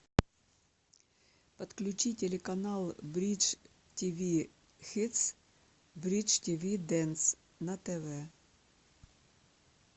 подключи телеканал бридж тиви хитс бридж тиви дэнс на тв